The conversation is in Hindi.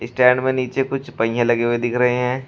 स्टैंड में नीचे कुछ पहिए लगे हुए दिख रहे हैं।